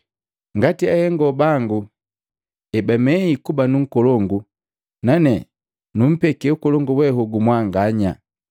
ngati ahengo bangu ebamei kuba nu nkolongu nane numpeke ukolongu we hogu mwanganya.